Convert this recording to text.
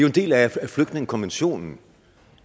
en del af flygtningekonventionen